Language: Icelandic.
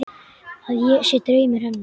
Að ég sé draumur hennar.